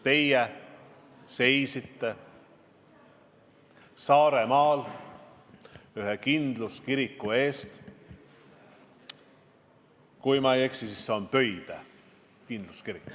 Teie seisite siis ühe Saaremaa kindluskiriku eest – kui ma ei eksi, siis see on Pöide kindluskirik.